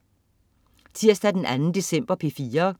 Tirsdag den 2. december - P4: